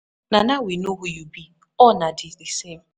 Na now we know who you be, all na di di same.